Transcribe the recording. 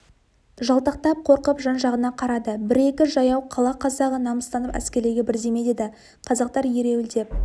жалтақтап қорқып жан-жағына қарады бір-екі жаяу қала қазағы намыстанып әскерлерге бірдеме деді қазақтар ереуілдеп